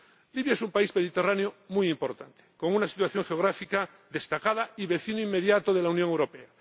Libia es un país mediterráneo muy importante, con una situación geográfica destacada y vecino inmediato de la Unión Europea.